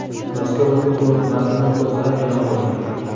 Mazkur nutqning to‘liq matnini O‘zA e’lon qildi .